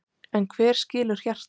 En hver skilur hjartað?